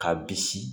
K'a bisi